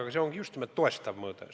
Aga see on just nimelt toestav mõõde.